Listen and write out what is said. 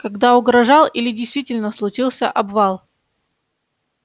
когда угрожал или действительно случился обвал